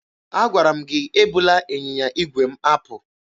Agwara m gị ebula ịnyịnya igwe m apụ!